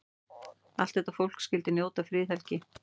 Allt þetta fólk skyldi njóta friðhelgi.